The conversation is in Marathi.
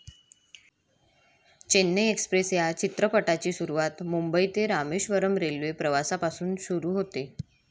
चेन्नई एक्सप्रेस या चित्रपटाची सुरुवात मुंबई ते रामेश्वरम् रेल्वे प्रवासापासून सुरु होते.